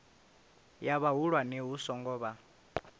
ya vhahulwane hu songo vha